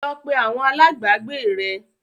Lọ pé àwọn alágbàágbé rẹ l!